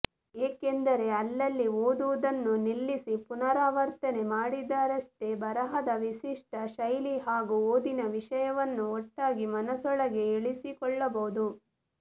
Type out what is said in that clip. ಏಕೆಂದರೆ ಅಲ್ಲಲ್ಲಿ ಓದುವುದನ್ನು ನಿಲ್ಲಿಸಿ ಪುನರಾವರ್ತನೆ ಮಾಡಿದರಷ್ಟೆ ಬರಹದ ವಿಶಿಷ್ಟ ಶೈಲಿ ಹಾಗೂ ಓದಿನ ವಿಷಯವನ್ನು ಒಟ್ಟಾಗಿ ಮನಸೊಳಗೆ ಇಳಿಸಿಕೊಳ್ಳಬಹುದು